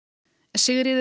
Sigríður